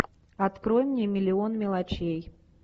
открой мне миллион мелочей